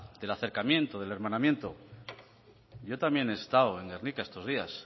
del acercamiento del hermanamiento yo también he estado en gernika estos días